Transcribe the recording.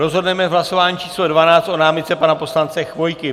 Rozhodneme v hlasování číslo 12 o námitce pana poslance Chvojky.